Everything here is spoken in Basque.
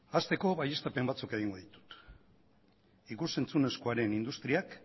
hasteko baieztapen batzuk egingo ditut ikus entzunezkoaren industriak